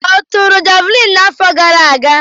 Ọ tụrụ javuliini n'afọ gara aga?